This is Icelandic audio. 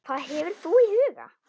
Hvað hefur þú í huga?